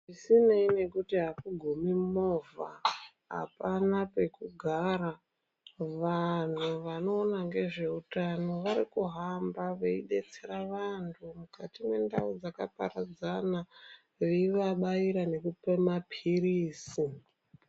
Zvisinei nekuti akugumi movha apana pekugara vanhu vanoona ngezveutano vari kuhamba veidetsera vanthu mukati mendau dzakaparadzana veivabaira nekupa mapirizi.